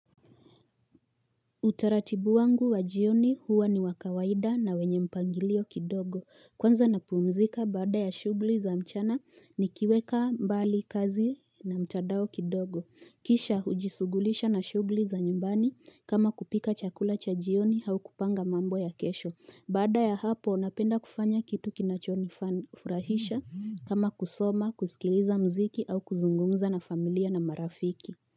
Utaratibu wangu wa jioni huwa ni wa kawaida na wenye mpangilio kidogo Kwanza napumzika baada ya shughuli za mchana nikiweka mbali kazi na mtandao kidogo Kisha hujishughulisha na shughuli za nyumbani kama kupika chakula cha jioni au kupanga mambo ya kesho Baada ya hapo napenda kufanya kitu kinachonifurahisha kama kusoma, kusikiliza mziki au kuzungumza na familia na marafiki.